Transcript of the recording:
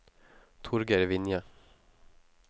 Torgeir Vinje